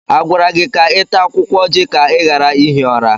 A gwara gị ka ị taa ọjị ka ị ghara ihi ụra?